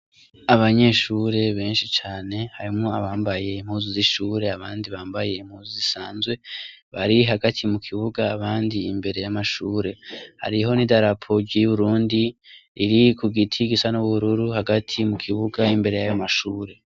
Abanyeshure benshi cane harimwo abambaye impuzu z'ishure abandi bambaye impuzu zisanzwe, bari hagati mu kibuga abandi imbere y'amashure, hariho n'idarapogi ry'Uburundi riri ku giti gisa n'ubururu hagati mu kibuga imbere y'ayo mashure.